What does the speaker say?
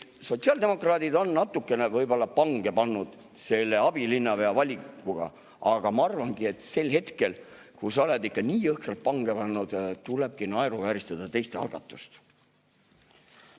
Sotsiaaldemokraadid on võib-olla natukene pange pannud selle abilinnapea valikuga, aga ma arvan, et sel hetkel, kui sa oled ikka nii jõhkralt pange pannud, tulebki naeruvääristada teiste algatust.